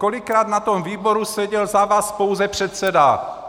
Kolikrát na tom výboru seděl za vás pouze předseda?